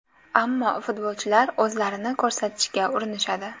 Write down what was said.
Ammo futbolchilar o‘zlarini ko‘rsatishga urinishadi.